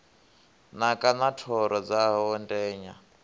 naka na thoro dzawo ndenya